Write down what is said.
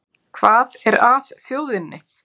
Hvað er að þjóðinni